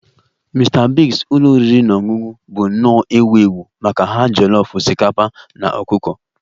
Mr Biggs ụlọ oriri na ọṅụṅụ bụ nnọọ ewu ewu maka ha jollof osikapa na ọkụkọ